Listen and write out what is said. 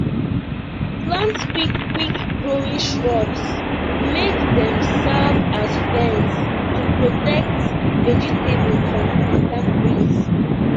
plant quick quick growing shrubs make dem serve as fence to protect vegetable from harmattan breeze